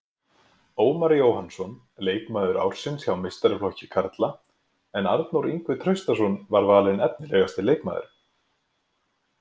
Ómar Jóhannsson leikmaður ársins hjá meistaraflokki karla en Arnór Ingvi Traustason var valinn efnilegasti leikmaðurinn.